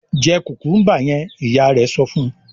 "Jẹ kùkúḿbà yẹn!" Ìyá rẹ̀ sọ fún un.